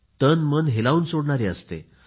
तनमन हेलावून सोडणारी असते